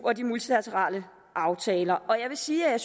og de multilaterale aftaler og jeg vil sige at